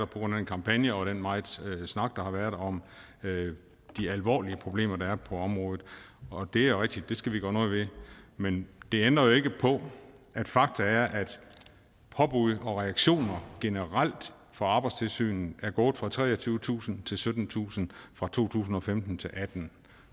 grund af en kampagne og den megen snak der har været om de alvorlige problemer der er på området og det er rigtigt at det skal vi gøre noget ved men det ændrer jo ikke på at fakta er at påbud og reaktioner generelt fra arbejdstilsynet er gået fra treogtyvetusind til syttentusind fra to tusind og femten til og atten